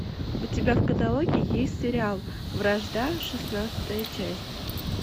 у тебя в каталоге есть сериал вражда шестнадцатая часть